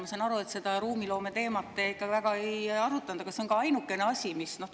Ma saan aru, et seda ruumiloome teemat te ikka väga ei arutanud, ometi see oleks ainukene asi,.